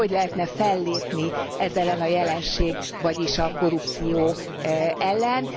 És hogy lehetne fellépni ez ellen a jelenség, vagyis a korrupció ellen?